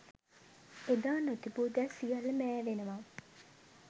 එදා නොතිබූ දෑ සියල්ල මෑවෙනවා